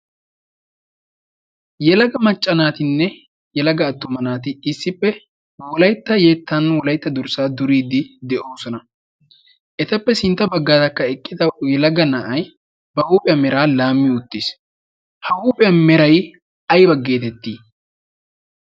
yalaga macca naatinne yalagga attuma naati issippe wolaitta yeettan wolaitta dorssaa duriiddi de7oosona. etappe sintta baggaatakka eqqida yalagga na7ai ba huuphiyaa meraa laammi uttiis. ha huuphiyaa merai aiba geetettii?